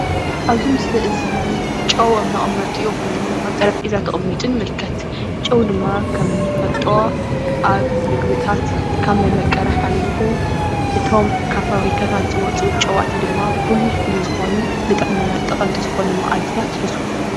ኣብዚ ምስሊ እዚ ጨው ኣብ መቀመጥኡ ኮይኑ ኣብ ጠረጴዛ ተቀሚጡ ንምልከት። ጨው ድማ ከምንፈልጦ ኣብ ምግብታት ካብ መምቀሪ ሓሊፉ እቶም ካብ ፋብሪካታት ዝወፁ ጨው ድማ ፍሉይ ፍሉይ ዝኮኑ ንጥዕናና ጠቀምቂ ዝኮኑ ማዕድናት ይሕዙ።